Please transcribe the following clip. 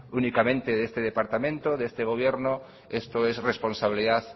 únicamente de este departamento de este gobierno esto es responsabilidad